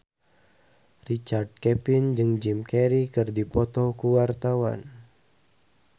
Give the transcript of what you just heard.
Richard Kevin jeung Jim Carey keur dipoto ku wartawan